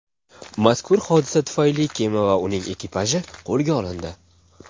Mazkur hodisa tufayli kema va uning ekipaji qo‘lga olindi.